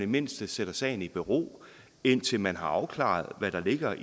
mindste sætter sagen i bero indtil man har afklaret hvad der ligger